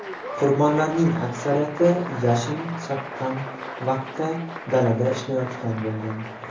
Qurbonlarning aksariyati yashin chaqqan vaqtda dalada ishlayotgan bo‘lgan.